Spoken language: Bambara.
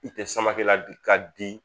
I tɛ sama kɛ ladi ka di